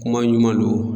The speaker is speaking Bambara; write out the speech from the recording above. Kuma ɲuman don